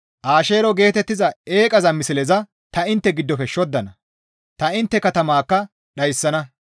Asheero geetettiza eeqiza misleyo ta intte giddofe shoddana; ta intte katamaakka dhayssana.